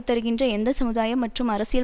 தருகின்ற எந்த சமுதாய மற்றும் அரசியல்